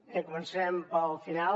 bé començarem pel final